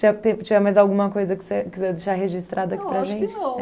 Se tiver mais alguma coisa que você quiser deixar registrado aqui para gente. Eu acho que não